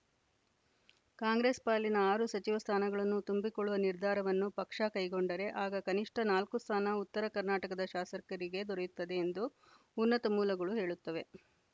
ಕಾಂಗ್ರೆಸ್‌ ಪಾಲಿನ ಆರು ಸಚಿವ ಸ್ಥಾನಗಳನ್ನು ತುಂಬಿಕೊಳ್ಳುವ ನಿರ್ಧಾರವನ್ನು ಪಕ್ಷ ಕೈಗೊಂಡರೆ ಆಗ ಕನಿಷ್ಠ ನಾಲ್ಕು ಸ್ಥಾನ ಉತ್ತರ ಕರ್ನಾಟಕದ ಶಾಸಕರಿಗೆ ದೊರೆಯುತ್ತದೆ ಎಂದು ಉನ್ನತ ಮೂಲಗಳು ಹೇಳುತ್ತವೆ